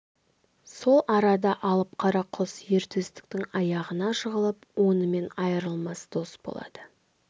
сол арада алып қара құс ер төстіктің аяғына жығылып онымен айырылмас дос болады